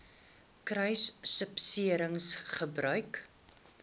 kruissubsidiëringgebruik